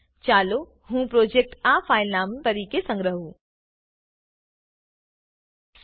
ચાલો હું પ્રોજેક્ટ આ ફાઈલ નામ તરીકે સંગ્રહુ Dubbed into Hindi